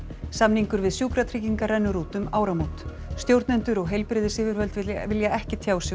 samningur við Sjúkratryggingar rennur út um áramót stjórnendur og heilbrigðisyfirvöld vilja ekki tjá sig um